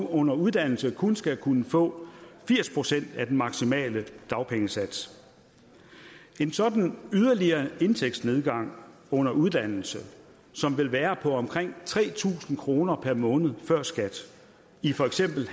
under uddannelse kun skal kunne få firs procent af den maksimale dagpengesats en sådan en yderligere indtægtsnedgang under uddannelse som vil være på omkring tre tusind kroner per måned før skat i for eksempel